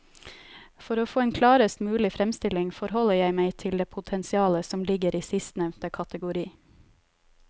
For å få en klarest mulig fremstilling forholder jeg meg til det potensialet som ligger i sistnevnte kategori.